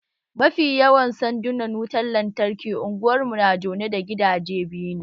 Mafi yawan sandunan wutan lantarkin Unguwan mu na jone da gidaje biyu ne